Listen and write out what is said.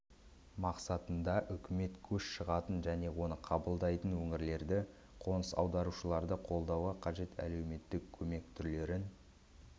мақсатында үкімет көш шығатын және оны қабылдайтын өңірлерді қоныс аударушыларды қолдауға қажет әлеуметтік көмек түрлерін